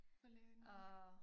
For lægen ja